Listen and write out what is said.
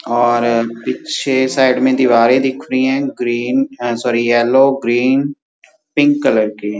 और पीछे साइड में दीवारे दिख रही हैं। Green uh sorry yellow green pink colour की --